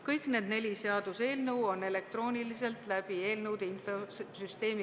Kõik neli seaduseelnõu on esitatud elektrooniliselt läbi eelnõude infosüsteemi.